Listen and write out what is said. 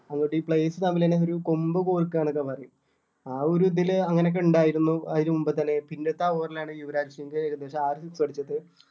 അതുപോലെ ഈ players തമ്മിൽ തന്നെ ഒരു കൊമ്പ് കോർക്കുക എന്നൊക്കെ പറയും ആ ഒരു അങ്ങനെ ഒക്കെ ഇണ്ടായിരുന്നു അതിനു മുൻപത്തെ ഇതില് പിന്നത്തെ over ലാണ് യുവരാജ് സിങ്ങ് ഏകദേശം ആറ് six അടിച്ചിട്ട്